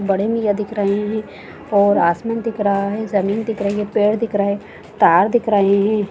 बड़े मियाँ दिख रहे है और आसमान दिख रहा है जमीन दिख रही है पेड़ दिख रहे है तार दिख रहे है।